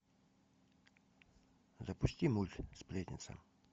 запусти мульт сплетница